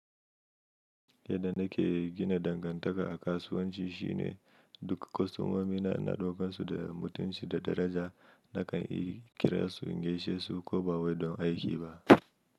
Yadda na ke gina dangantaka a kasuwanci shine duk kostomomi na, ina ɗaukan su da mutunci da daraja nakan kira su in gaishe su ko ba wai don aiki ba.